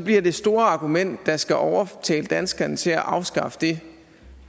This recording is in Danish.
bliver det store argument der skal overtale danskerne til at afskaffe det